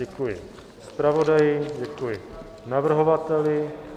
Děkuji zpravodaji, děkuji navrhovateli.